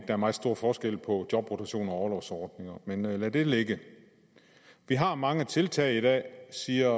er meget stor forskel på jobrotationer og orlovsordninger men lad det ligge vi har mange tiltag i dag siger